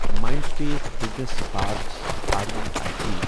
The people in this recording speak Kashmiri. Mindspace business parks R E I T